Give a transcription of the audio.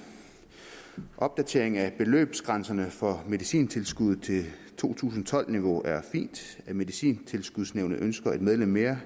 opdateringen af beløbsgrænserne for medicintilskuddet til to tusind og tolv niveau er fint at medicintilskudsnævnet ønsker et medlem mere